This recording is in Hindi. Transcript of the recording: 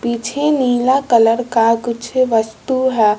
पीछे नीला कलर का कुछ वस्तु है।